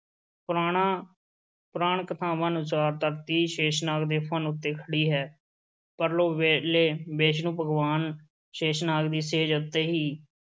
ਪੁਰਾਣਾ ਪੁਰਾਣ-ਕਥਾਵਾਂ ਅਨੁਸਾਰ ਧਰਤੀ ਸ਼ੇਸ਼ਨਾਗ ਦੇ ਫੰਨ੍ਹ ਉੱਤੇ ਖੜ੍ਹੀ ਹੈ, ਪਰਲੋ ਵੇਲੇ ਵਿਸ਼ਨੂੰ ਭਗਵਾਨ ਸ਼ੇਸ਼ਨਾਗ ਦੀ ਸੇਜ ਉੱਤੇ ਹੀ